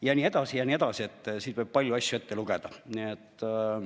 Ja nii edasi ja nii edasi, siin võib palju asju ette lugeda.